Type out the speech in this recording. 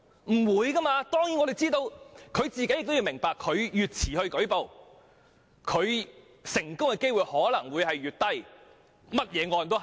我們明白這一點，而受害人亦明白越遲舉報，成功控訴的機會可能會越低。